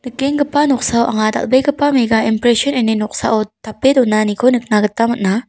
nikenggipa noksao anga dal·begipa mega empresin ine noksao tape donaniko nikna gita man·a.